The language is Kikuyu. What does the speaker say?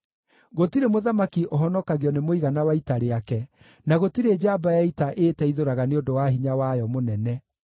Gũtirĩ mũthamaki ũhonokagio nĩ mũigana wa ita rĩake, na gũtirĩ njamba ya ita ĩĩteithũraga nĩ ũndũ wa hinya wayo mũnene.